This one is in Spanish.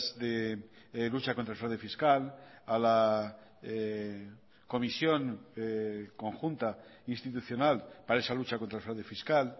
de lucha contra el fraude fiscal a la comisión conjunta institucional para esa lucha contra el fraude fiscal